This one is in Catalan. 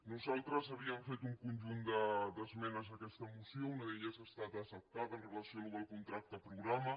nosaltres havíem fet un conjunt d’esmenes a aquesta moció una de les quals ha estat acceptada amb relació al contracte programa